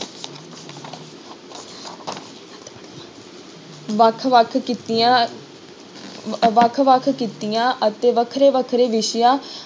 ਵੱਖ ਵੱਖ ਕਿੱਤਿਆਂ ਵੱਖ ਵੱਖ ਕਿੱਤਿਆਂ ਅਤੇ ਵੱਖਰੇ ਵੱਖਰੇ ਵਿਸ਼ਿਆਂ